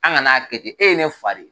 An kan'a kɛ ten e ye ne fa de ye.